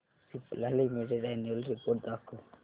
Cipla limited annual report दाखव